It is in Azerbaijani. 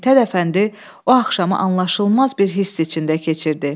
Mit Hədəfəndi o axşamı anlaşılmaz bir hiss içində keçirdi.